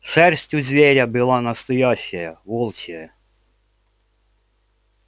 шерсть у зверя была настоящая волчья